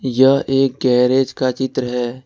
यह एक गैरेज का चित्र है।